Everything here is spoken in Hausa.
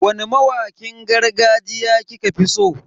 Wani mawakin gargajiya kika fi so?